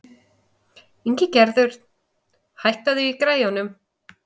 Ingigerður, hækkaðu í græjunum.